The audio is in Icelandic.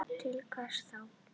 Til hvers þá?